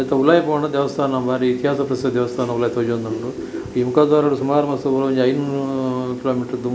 ನೆತ್ತ ಉಲಾಯಿ ಪೋಂಡ ದೇವಸ್ಥಾನ ಬಾರಿ ಇತಿಹಾಸ ಪ್ರಸಿದ್ಧ ದೇವಸ್ಥಾನ ಉಲಾಯಿ ತೋಜೋಂದುಂಡು ಈ ಮುಖದ್ವಾರೊಡು ಸುಮಾರು ಒರು ಐನೂರು ಕಿಲೋಮೀಟರ್‌ ದೂರ--